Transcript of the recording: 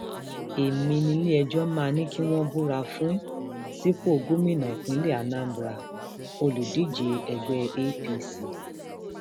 èmi niléẹjọ máa ní kí wọn búra fún búra fún sípò gómìnà ìpínlẹ anambraolùdíje ẹgbẹ apc